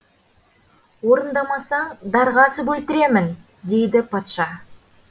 орындамасаң дарға асып өлтіремін дейді патша